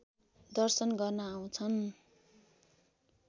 दर्शन गर्न आउँछन्